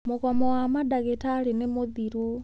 Mũgomo wa mandagĩtarĩ nĩ mũthiru.